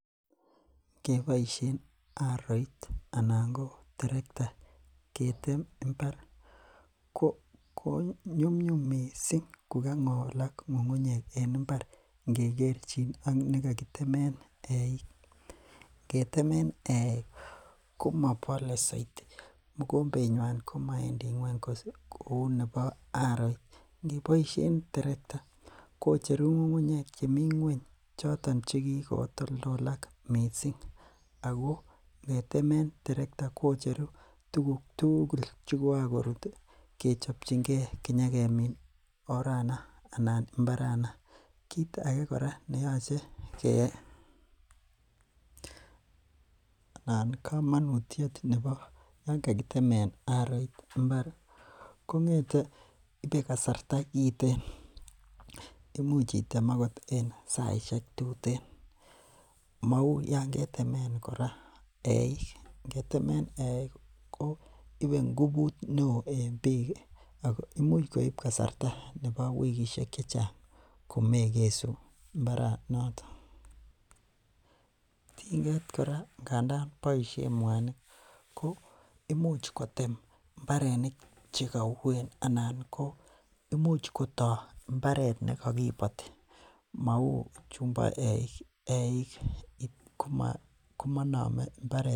Keboishen aroit anan ko terekta ketem imbar ko nyumnyum mising ko kang'olak ng'ung'unyek en mbar ngekerchin ak nekakitemen eiik, ketemen eeik komobole soiti, mokombenywan komowendi ngweny kouu nebo aroit, ngeboishen terekta ko cheru ng'ung'unyek chemi ngweny choto chekikotoldolak mising ak ko ngetemen terekta kocheru tukuk tukul chekoran korut kechopchinge konyokemin orana anan mbarana, kiit akee neyoche keyai komonutiet nebo yoon kakitemen aroit mbar kongete ibee kasarta kiten, imuch item oot en saishek tuten, mouu yoon ketemen kora eiik, ngetemen eiik ko ibee ngubut neoo en biik ak ko imuch koib kasarta nebo wikishek chechang komekesu mbaranoton, tinget kora ndandan boishen mwanik ko imuch kotem mbarenik chekouen anan ko imuch kotoo imbaret nekokiboti mouu chumbo eiik, eiik komonome mbaret.